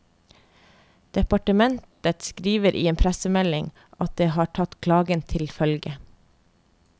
Departementet skriver i en pressemelding at det har tatt klagen til følge.